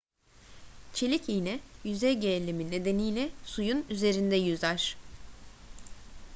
çelik iğne yüzey gerilimi nedeniyle suyun üzerinde yüzer